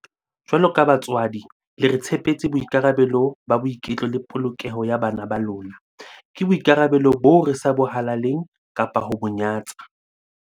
Jwaloka batswadi, le re tshepetse boikarabelo ba boiketlo le polokeho ya bana ba lona. Ke boikarabelo boo re sa bo halaleng kapa ho bo nyatsa.